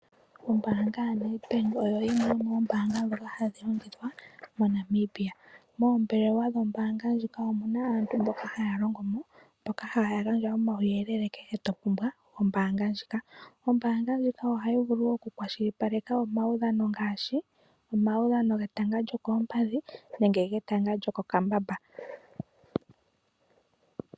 Ombanga yaNedbank oyo yimwe yomoombanga dhoka hadhi longithwa moNamibia. Oombelewa dhombanga ndjika omuna aantu mboka haya longo mo. Haya gandja omawuyelele kombinga yombanga ndjika. Ombanga ndjika ohayi vulu oku kwashilipaleka omaudhano ngaashi omaudhano getanga lyookompadhi nenge getanga lyokokambamba.